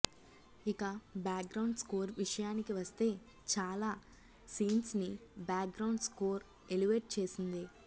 ఇక background score విషయానికి వస్తే చాలా సీన్స్ని బ్యాక్గ్రౌండ్ స్కోర్ ఎలివేట్ చేసింది